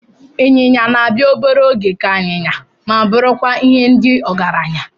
Ịnyịnya na-abịa obere oge ka anyịnya ma bụrụkwa nke ndị ọgaranya.